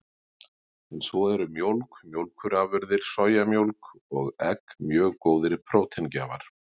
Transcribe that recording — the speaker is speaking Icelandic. En svo eru mjólk, mjólkurafurðir, sojamjólk og egg mjög góðir próteingjafar.